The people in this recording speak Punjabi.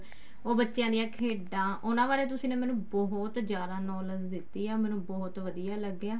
ਉਹ ਬੱਚਿਆਂ ਦਾਂ ਖੇਡਾਂ ਉਹਨਾ ਬਾਰੇ ਤੁਸੀਂ ਨੇ ਮੈਨੂੰ ਬਹੁਤ ਜ਼ਿਆਦਾ knowledge ਦਿੱਤੀ ਆ ਬਹੁਤ ਵਧੀਆ ਲੱਗਿਆ